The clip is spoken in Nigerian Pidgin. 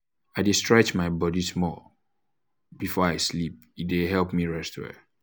i dey stretch um my body small before um i sleep e dey help me um rest well.